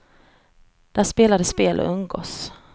Där spelar de spel och umgås.